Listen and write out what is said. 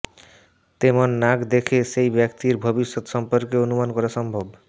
তেমন নাক দেখে সেই ব্যক্তির ভবিষ্যত সম্পর্কে অনুমান করা সম্ভব